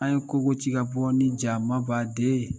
An ye kogoci ka bɔ ni jamabaden ye.